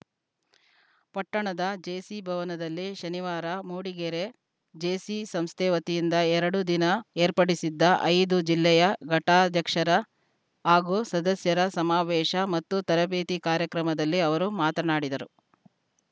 ಪಟ್ಟಣದ ಜೇಸಿ ಭವನದಲ್ಲಿ ಶನಿವಾರ ಮೂಡಿಗೆರೆ ಜೇಸಿ ಸಂಸ್ಥೆ ವತಿಯಿಂದ ಎರಡು ದಿನ ಏರ್ಪಡಿಸಿದ್ದ ಐದು ಜಿಲ್ಲೆಯ ಘಟಕಾಧ್ಯಕ್ಷರ ಹಾಗೂ ಸದಸ್ಯರ ಸಮಾವೇಶ ಮತ್ತು ತರಬೇತಿ ಕಾರ್ಯಕ್ರಮದಲ್ಲಿ ಅವರು ಮಾತನಾಡಿದರು